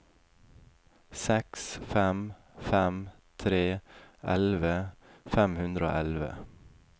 seks fem fem tre elleve fem hundre og elleve